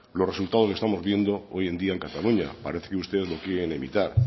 los resultados que estamos viendo hoy en día en cataluña parece que usted lo quieren evitar